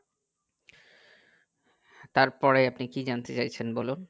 তারপরে আপনি কি জানতে চাইছেন বলুন